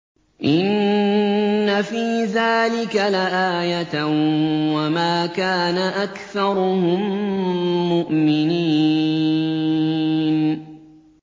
إِنَّ فِي ذَٰلِكَ لَآيَةً ۖ وَمَا كَانَ أَكْثَرُهُم مُّؤْمِنِينَ